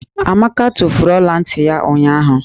Amaka tufuru ọla ntị ya ụnyụahụ.